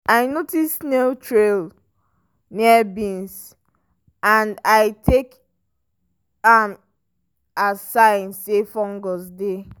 i notice snail trails near beans and i take am as sign say fungus dey.